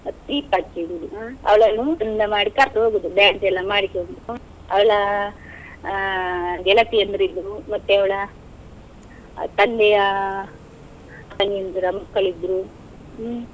ದೀಪ ಹಚ್ಚಿ ಇಡುದು ಹ್ಮ್, ಅವಳನ್ನು ಚಂದ ಮಾಡಿ ಹೋಗುದು dance ಎಲ್ಲ ಮಾಡಿಕೊಂಡು. ಅವಳ ಆ ಗೆಳತಿಯಂದಿರು ಇದ್ರು, ಮತ್ತೆ ಅವಳ ತಂದೆಯ ತಂಗಿಯಂದಿರ ಮಕ್ಕಳು ಇದ್ರು, ಹ್ಮ್.